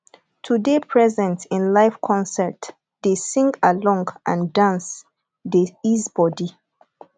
to de present in live concert de sing along and dance de ease body